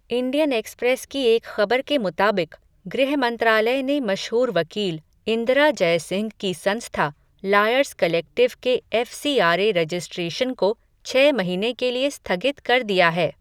Indian Express की एक ख़बर के मुताबिक़, गृह मंत्रालय ने मशहूर वकील, इंदिरा जयसिंह की संस्था, लायर्स कलेक्टिव के एफ़सीआरए रेजिस्ट्रेशन को छह महीने के लिए स्थगित कर दिया है.